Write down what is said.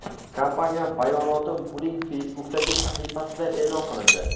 Kompaniya bayonoti uning Facebook’dagi sahifasida e’lon qilindi .